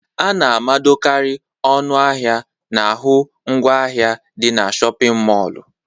A na-amadokarị ọnụ ahịa n'ahụ ngwa ahịa dị na shọpịn mọlụ.